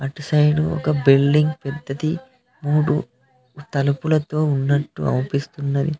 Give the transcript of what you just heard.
అటు సైడు ఒక బిల్డింగ్ పెద్దది మూడు తలుపులతో ఉన్నట్టు అవ్వ్పిస్తున్నది.